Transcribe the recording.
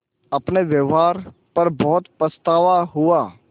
अपने व्यवहार पर बहुत पछतावा हुआ